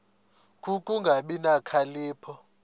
ku kungabi nokhalipho